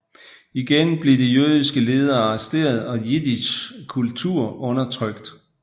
Igen blev de jødiske ledere arresteret og jiddisch kultur undertrykt